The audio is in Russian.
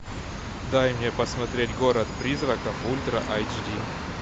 дай мне посмотреть город призраков ультра айч ди